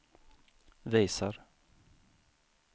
visar